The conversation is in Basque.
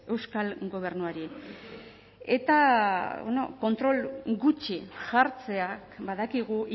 euskal gobernuari eta kontrol gutxi jartzeak badakigu